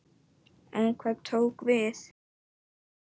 En hvað tók við?